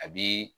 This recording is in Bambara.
A bi